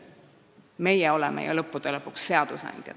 Meie oleme ju lõppude lõpuks seadusandjad.